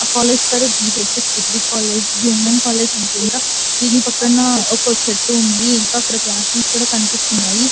ఆ కాలేజ్ పేరు B H S degree college ఇది విమెన్ కాలేజ్ అనుకుంట దీని పక్కన ఒక చెట్టు వుంది ఇంకా అక్కడ క్లాస్ రూమ్స్ కనిపిస్తున్నాయి.